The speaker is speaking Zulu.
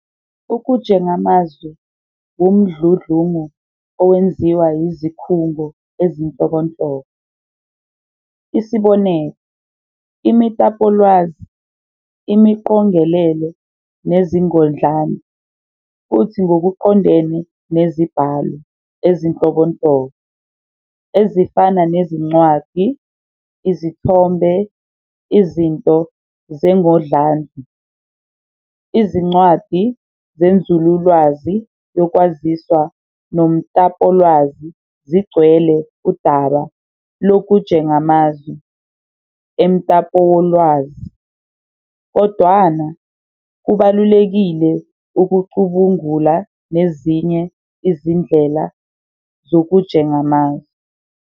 Ukujengamazwi wumdludlungu owenziwa yizikhungo ezinhlobonhlobo, Isb. imitapolwazi, imiqongelelo, nezingodlandlu, futhi ngokuqondene nezibhalo ezinhlobonhlobo, ezifana nezincwadi, izithombe, izinto zengodlandlu njll. Izincwadi zenzululwazi yokwaziswa nomtapolwazi zigcwele udaba lokujengamazwi emtapowolwazi, kodwana kubalulekile ukucubungula nezinye izindlela zokujengamazwi.